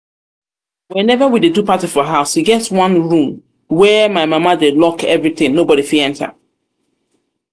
whenever we dey do party for house e get one room um where my mama dey lock everything nobody fit um enter